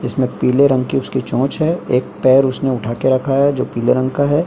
जिसमे पीले रंग की उसकी चोंच है एक पैर उसने उठाके रखा है जो पीले रंग का है।